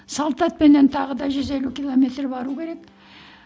салт атпенен тағы да жүз елу километр бару керек